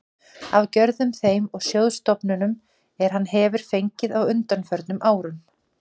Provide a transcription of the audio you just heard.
af gjöfum þeim og sjóðstofnunum, er hann hefir fengið á undanförnum árum.